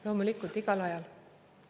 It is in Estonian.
Loomulikult, igal ajal.